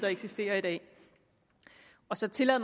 eksisterer i dag så tillader